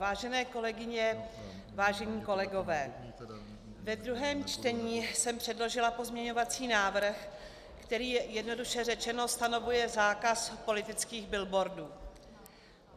Vážené kolegyně, vážení kolegové, ve druhém čtení jsem předložila pozměňovací návrh, který jednoduše řečeno stanovuje zákaz politických billboardů.